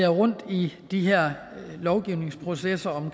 rundt i de her lovgivningsprocesser